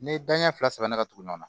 N'i ye da ɲɛ fila saba la ka tugu ɲɔgɔn na